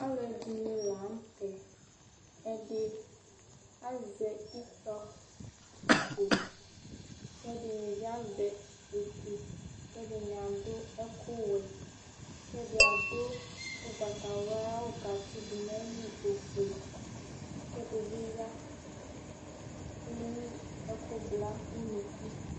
Alʋɛdìní la ntɛ Ɛdí azɛ itɔ kʋ ɛdiní bi azɛ etu kʋ ɛdiní adʋ ɛku wɛ kʋ ɛdí adu ugbatawla ayʋ awu kʋ atsi du nʋ ayìlí ɔfʋe kʋ ɛdi bi ya Ɛwu ɛku bla ʋnʋku